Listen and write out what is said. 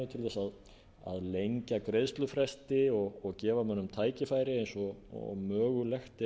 til að lengja greiðslufresti og gefa mönnum tækifæri eins og mögulegt er að